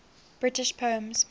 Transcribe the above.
british poems